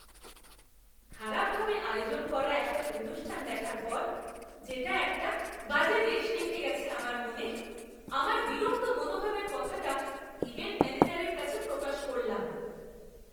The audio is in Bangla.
খারাপভাবে আয়োজন করা একটা অনুষ্ঠান দেখার পর, যেটা একটা বাজে রেশ রেখে গেছে আমার মনে, আমার বিরক্ত মনোভাবের কথাটা ইভেন্ট ম্যানেজারের কাছে প্রকাশ করলাম!